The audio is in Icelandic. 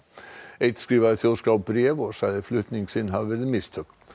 einn skrifaði Þjóðskrá bréf og sagði flutning sinn hafa verið mistök